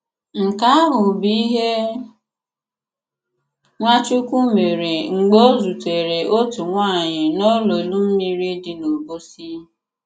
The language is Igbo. Nke àhụ̀ bụ ìhé Nwàchùkwù mèré mg̀bè ọ̀ zùtèrè otu nwànyị̀ n'òlòlù mmìrì dị n'Òbòsi.